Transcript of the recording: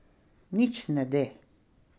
Nič ne de.